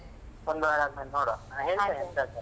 ಒಂದ್ ವಾರ ಆದ್ಮೇಲೆ ನೋಡುವ ಹೇಳ್ತೇನೆ ಎಂತ ಅಂತ.